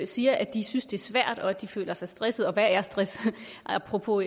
siger at de synes det er svært og at de føler sig stressede og hvad er stress apropos